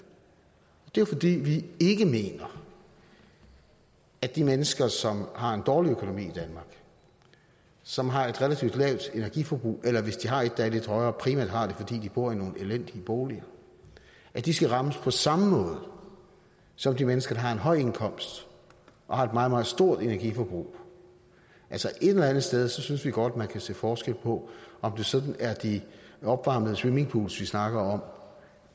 det er jo fordi vi ikke mener at de mennesker som har en dårlig økonomi og som har et relativt lavt energiforbrug eller hvis de har et der er lidt højere så primært har det fordi de bor i nogle elendige boliger skal rammes på samme måde som de mennesker der har en høj indkomst og har et meget meget stort energiforbrug altså et eller andet sted synes vi godt man kan se forskel på om det sådan er de opvarmede swimmingpools vi snakker om